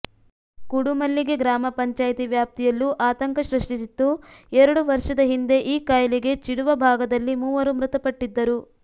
ಕುಡುಮಲ್ಲಿಗೆ ಗ್ರಾಮ ಪಂಚಾಯ್ತಿ ವ್ಯಾಪ್ತಿಯಲ್ಲೂ ಆತಂಕ ಸೃಷ್ಟಿಸಿತ್ತು ಎರಡು ವರ್ಷದ ಹಿಂದೆ ಈ ಕಾಯಿಲೆಗೆ ಚಿಡುವ ಭಾಗದಲ್ಲಿ ಮೂವರು ಮೃತಪಟ್ಟಿದ್ದರು